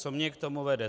Co mě k tomu vede.